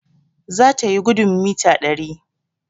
zatayi gudun mita dari